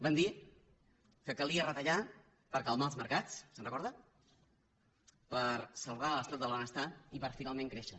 van dir que calia retallar per calmar els mercats se’n recorda per salvar l’estat del benestar i per finalment créixer